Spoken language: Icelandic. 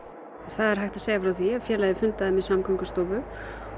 það er hægt að segja frá því að félagið fundaði með Samgöngustofu